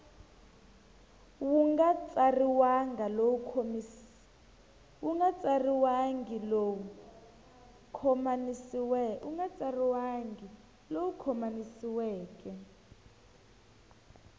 wu nga tsariwangi lowu khomanisiweke